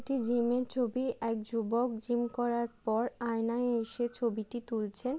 একটি জিমের ছবি। এক যুবক জিম করার পর আয়নায় এসে ছবিটি তুলছেন।